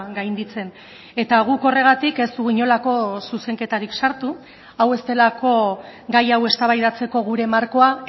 gainditzen eta guk horregatik ez dugu inolako zuzenketarik sartu hau ez delako gai hau eztabaidatzeko gure markoa